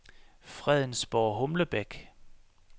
Fredensborg-Humlebæk